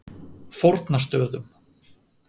Fornastöðum